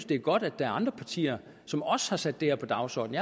det er godt at der er andre partier som også har sat det her på dagsordenen